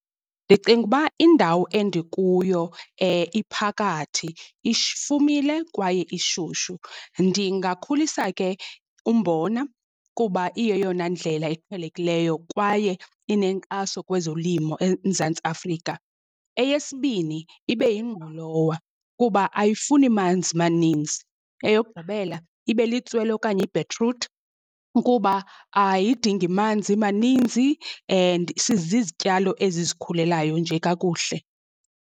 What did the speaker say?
Ndicinga uba indawo endikuyo iphakathi ifumile kwaye ishushu, ndingakhulisa ke umbona kuba iyeyona ndlela iqhelekileyo kwaye inenkxaso kwezolimo eMzantsi Afrika. Eyesibini ibe yingqolowa kuba ayifuni manzi maninzi, eyokugqibela ibe litswele okanye ibhetruthi kuba ayidingi manzi maninzi and sizizityalo ezizikhulelayo nje kakuhle.